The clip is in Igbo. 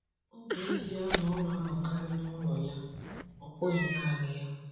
Ọ bụ ezie na ọ na-anọkarị n'ụlọ ya, ọ bụghị naanị ya.